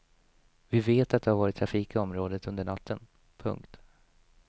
Vi vet att det har varit trafik i området under natten. punkt